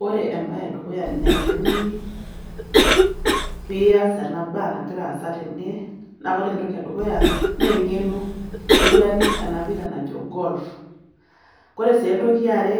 Wore embaye edukuya nayieuni pee ias ena baa nakira aasa tene, naa wore entoki edukuya, naa engeno niguranie ena pira najo golf. Wore sii entoki eare,